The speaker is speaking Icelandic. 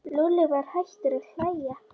Lúlli var hættur að hlæja.